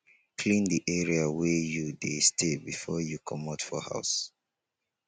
clean di area wey you dey stay before you comot for house